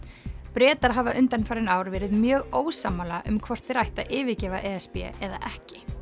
Bretar hafa undanfarin ár verið mjög ósammála um hvort þeir ættu að yfirgefa e s b eða ekki